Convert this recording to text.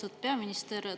Austatud peaminister!